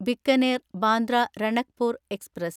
Bikaner Bandra Ranakpur express